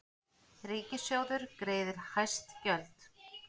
Ríkissjóður greiðir hæst gjöld